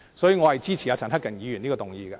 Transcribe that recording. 所以，我支持陳克勤議員的這項議案。